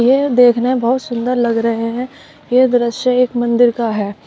यह देखने में बहोत सुंदर लग रहे हैं ये दृश्य एक मंदिर का है।